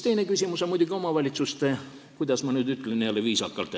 Teine küsimus on muidugi omavalitsuste – kuidas ma nüüd jälle viisakalt ütlen?